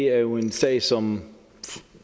er jo en sag som